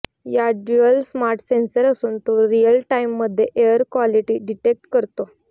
यात dual smart sensor असून तो रियल टाइममध्ये एअर क्वालिटी डिटेक्ट करतो